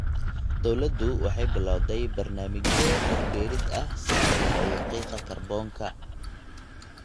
Dawladdu waxay bilawday barnaamijyo dhir beerid ah si loo yareeyo qiiqa kaarboonka.